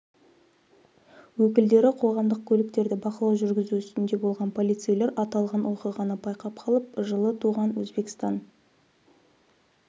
өкілдері қоғамдық көліктерде бақылау жүргізу үстінде болған полицейлер аталған оқиғаны байқап қалып жылы туған өзбекстан